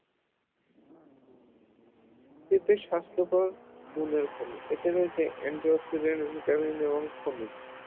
পেঁপে স্বাস্থ্যকর গুণের খনিজ এতে রয়েছে antioxidant vitamin